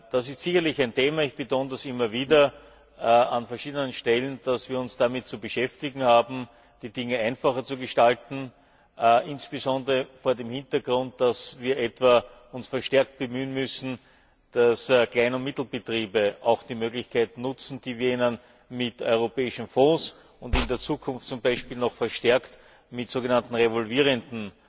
Es ist sicherlich ein Thema ich betone das immer wieder an verschiedenen Stellen dass wir uns damit zu beschäftigen haben, die Dinge einfacher zu gestalten, insbesondere vor dem Hintergrund, dass wir uns verstärkt bemühen müssen, dass kleine und mittlere Betriebe auch die Möglichkeit nutzen, die wir ihnen mit europäischen Fonds und in der Zukunft zum Beispiel noch verstärkt mit sogenannten revolvierenden